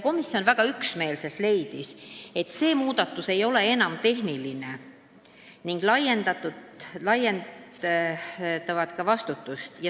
Komisjon leidis väga üksmeelselt, et see muudatus ei ole enam tehniline ning laiendab vastutust.